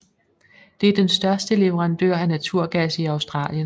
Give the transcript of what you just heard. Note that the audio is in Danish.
Det er den største leverandør af naturgas i Australien